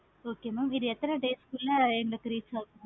okay mam இது எத்தனை days குள்ள இந்த price